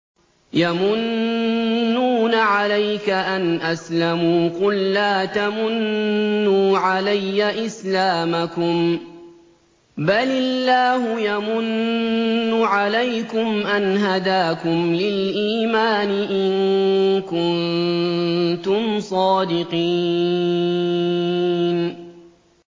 يَمُنُّونَ عَلَيْكَ أَنْ أَسْلَمُوا ۖ قُل لَّا تَمُنُّوا عَلَيَّ إِسْلَامَكُم ۖ بَلِ اللَّهُ يَمُنُّ عَلَيْكُمْ أَنْ هَدَاكُمْ لِلْإِيمَانِ إِن كُنتُمْ صَادِقِينَ